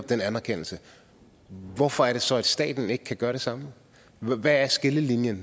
den anerkendelse hvorfor er det så at staten ikke kan gøre det samme hvad er skillelinjen